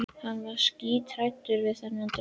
Hann var skíthræddur við þennan draug.